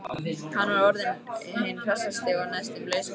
Hann var orðinn hinn hressasti og næstum laus við heltina.